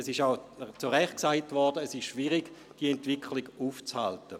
Es wurde auch zu Recht gesagt, es sei schwierig, diese Entwicklung aufzuhalten.